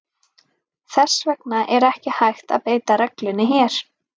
Þess vegna er ekki hægt að beita reglunni hér.